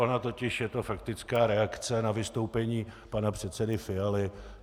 Ona totiž je to faktická reakce na vystoupení pana předsedy Fialy.